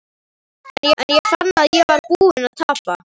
En ég fann að ég var búinn að tapa.